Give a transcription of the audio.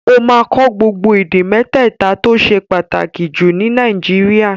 Ó máa kọ́ gbogbo èdè mẹ́tẹ̀ta tó ṣe pàtàkì jù ní Nàìjíríà